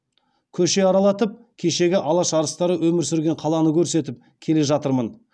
көше аралатып кешегі алаш арыстары өмір сүрген қаланы көрсетіп келе жатырмын